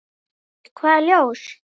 Nei, hvaða ljós?